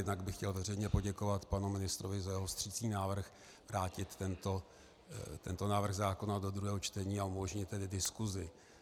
Jednak bych chtěl veřejně poděkovat panu ministrovi za jeho vstřícný návrh vrátit tento návrh zákona do druhého čtení a umožnit tedy diskusi.